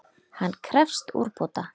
Hann krefst úrbóta.